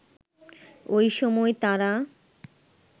ওই সময় তারা